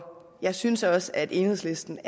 jeg synes også at enhedslisten